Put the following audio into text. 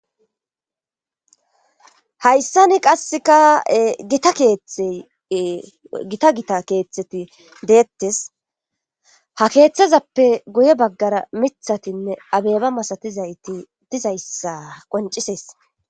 Hayssani qasseka itaettegita gita keeththeti deettes ha keeththezappe guye baggara mithatinne abeeba masatizayti dizayssa qoncisees.